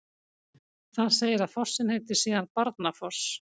Þar segir að fossinn heiti síðan Barnafoss.